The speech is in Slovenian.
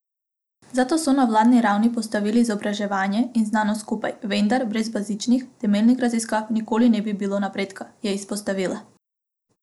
Zato so na vladni ravni postavili izobraževanje in znanost skupaj, vendar brez bazičnih, temeljnih raziskav nikoli ni bilo napredka, je izpostavila.